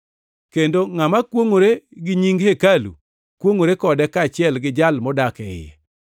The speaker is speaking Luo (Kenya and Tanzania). Kendo ngʼama kwongʼore gi nying hekalu kwongʼore kode kaachiel gi Jal modak e iye.